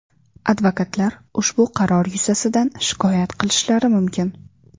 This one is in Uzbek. Advokatlar ushbu qaror yuzasidan shikoyat qilishlari mumkin.